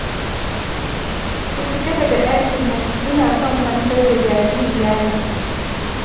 Ku fita daga ɗakin nan, ina son kwantar da jaririya ne